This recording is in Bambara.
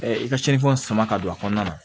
i ka cɛnfɛnw sama ka don a kɔnɔna na